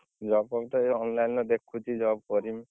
Job ତ ଏଇ online ରେ ଦେଖୁଛି job କରିବି।